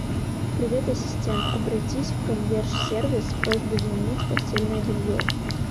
привет ассистент обратись в консьерж сервис с просьбой заменить постельное белье